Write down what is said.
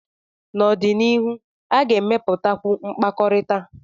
n'ọdịnihu, a ga-emepụtakwu mkpakọrịta